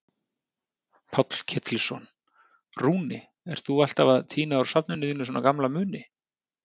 Páll Ketilsson: Rúni, ert þú alltaf að tína úr safninu þínu svona gamla muni?